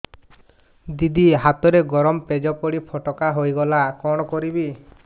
ଦିଦି ହାତରେ ଗରମ ପେଜ ପଡି ଫୋଟକା ହୋଇଗଲା କଣ କରିବି